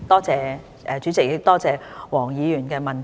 主席，多謝黃議員的質詢。